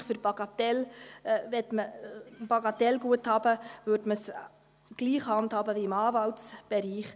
Wahrscheinlich würde man es bei Bagatellguthaben gleich handhaben wie im Anwaltsbereich.